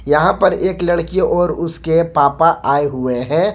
यहां पर एक लड़की और उसके पापा आए हुए हैं।